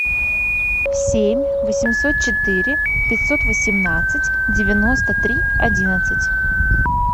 семь восемьсот четыре пятьсот восемнадцать девяносто три одиннадцать